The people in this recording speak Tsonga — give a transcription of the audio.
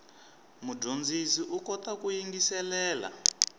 mudyondzi u kota ku yingiselela